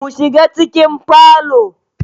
Mu shiga cikin falo